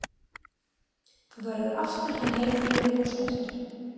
Þú verður aftur hinn heilbrigði og sterki.